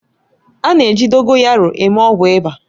A na-eji Dogoyaroo eme ọgwụ ịba